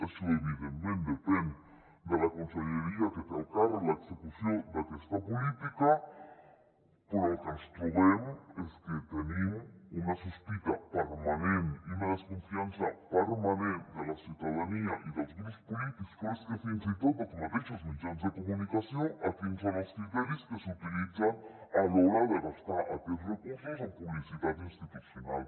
això evidentment depèn de la conselleria que té al càrrec l’execució d’aquesta política però el que ens trobem és que tenim una sospita permanent i una descon·fiança permanent de la ciutadania i dels grups polítics però és que fins i tot dels mateixos mitjans de comunicació en quins són els criteris que s’utilitzen a l’hora de gastar aquests recursos en publicitat institucional